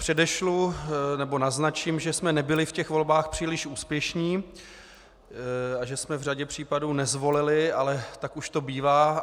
Předešlu nebo naznačím, že jsme nebyli v těch volbách příliš úspěšní a že jsme v řadě případů nezvolili, ale tak už to bývá.